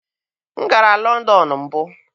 M gara Lọndọn mbụ.